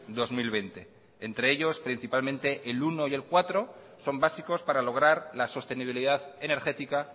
dos mil veinte entre ellos principalmente el uno y el cuatro son básicos para lograr la sostenibilidad energética